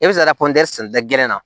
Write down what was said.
E bɛ se ka taa gɛn na